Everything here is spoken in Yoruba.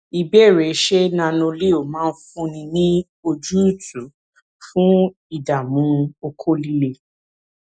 ìbéèrè ṣé nanoleo máa fúnni ní ojútùú fun idamu oko lile